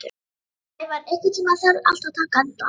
Blævar, einhvern tímann þarf allt að taka enda.